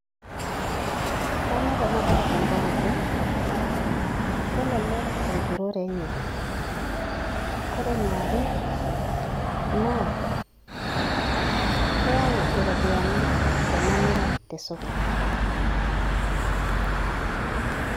Kanyorr ena baye tengariki, kelelek enturore enye, ore eniare naa keyau enturore enye iropiyiani tenemiri tesokoni.